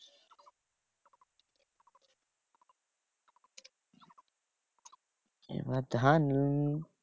এইবার ধান উম